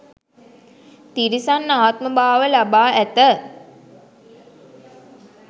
තිරිසන් ආත්මභාව ලබා ඇත.